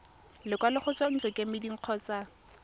lekwalo go tswa ntlokemeding kgotsa